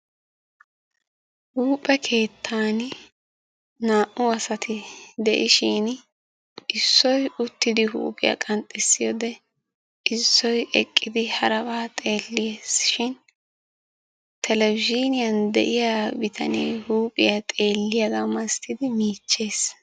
Huuphe keettani naa''u asati de'ishin issoy uttidi huuphiya qanxxissiyode; issoy eqqidi haraba xeelees shin televezhiniyan de'iya biitane huuphiya xeeliyaba malatidi michches.